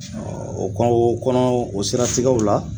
Ɔ o kɔnɔ o seratigɛw la